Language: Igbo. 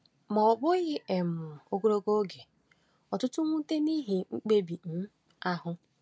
Ma, ọ bụghị um ogologo oge, ọtụtụ nwute n’ihi mkpebi um ahụ.